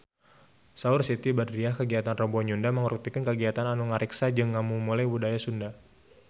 Saur Siti Badriah kagiatan Rebo Nyunda mangrupikeun kagiatan anu ngariksa jeung ngamumule budaya Sunda